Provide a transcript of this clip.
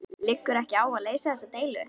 Liggur ekki á að leysa þessa deilu?